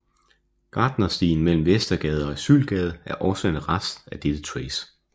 Gartnerstien mellem Vestergade og Asylgade er også en rest af dette tracé